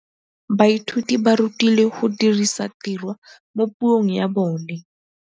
Baithuti ba rutilwe go dirisa tirwa mo puong ya bone.